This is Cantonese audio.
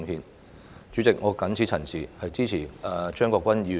代理主席，我謹此陳辭，支持張國鈞議員的議案。